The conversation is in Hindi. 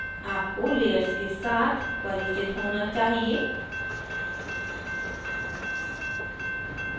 आपको layers के साथ परिचित होना चाहिए